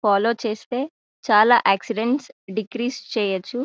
Follow చేస్తే చాలా accidents decrease చెయ్యొచ్చు.